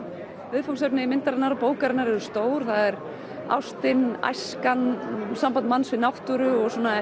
viðfangsefni myndarinnar og bókarinnar eru stór það er ástin æskan samband manns við náttúru og svona